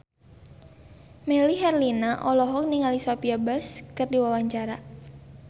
Melly Herlina olohok ningali Sophia Bush keur diwawancara